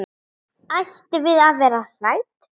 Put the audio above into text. Ættum við að vera hrædd?